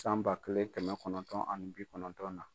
San ba kelen kɛmɛ kɔnɔntɔn ani bi kɔnɔntɔn na.